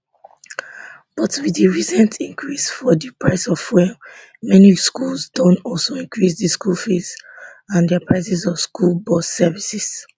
but wit di recent increase for di price of fuel many schools don also increase di school fees and dia prices of school bus services